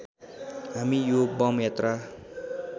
हामी यो बम यात्रा